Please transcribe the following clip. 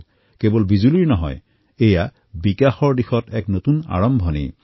এয়া কেৱল বিজুলীয়েই নহয় বিকাশৰ দৌৰৰ এক নতুন আৰম্ভণি